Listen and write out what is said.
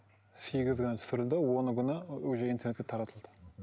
сегізі күні түсірілді оны күні уже интернетке таратылды